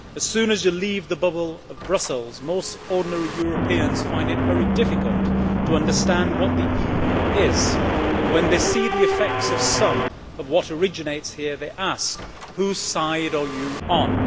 As soon as you leave the bubble of Brussels most ordinary Europeans find it very difficult to understand what the EU is, and when they see the effects of some of what originates here they ask whose side are you on?